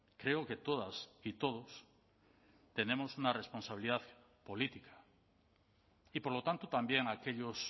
creo que todas y todos tenemos una responsabilidad política y por lo tanto también aquellos